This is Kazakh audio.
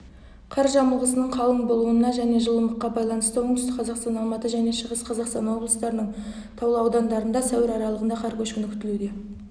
қар жамылғысының қалың болуына және жылымыққа байланысты оңтүстік қазақстан алматы және шығыс қазақстан облыстарының таулы аудандарында сәуір аралығында қар көшкіні қүтілуде